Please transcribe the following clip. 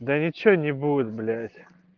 да ничего не будет блять